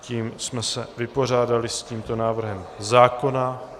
Tím jsme se vypořádali s tímto návrhem zákona.